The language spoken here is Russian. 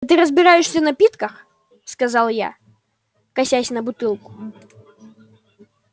да ты разбираешься в напитках сказал я косясь на бутылку